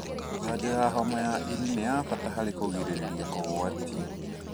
Janjo ya homa ya ini nĩ ya bata harĩ kũgirĩrĩria kũgwatio.